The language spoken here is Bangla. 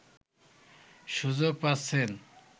সুযোগ পাচ্ছেন